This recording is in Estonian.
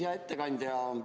Hea ettekandja!